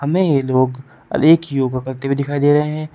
नए लोग अ एक योगा करते हुए दिखाई दे रहे--